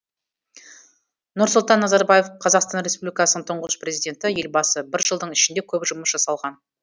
нұрсұлтан назарбаев қазақстан республикасының тұңғыш президенті елбасы бір жылдың ішінде көп жұмыс жасалған